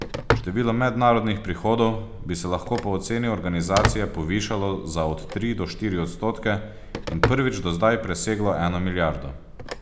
Število mednarodnih prihodov bi se lahko po oceni organizacije povišalo za od tri do štiri odstotke in prvič do zdaj preseglo eno milijardo.